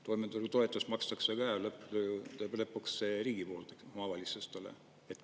Toimetuleku toetus makstakse ka lõpuks riigi poolt omavalitsustele.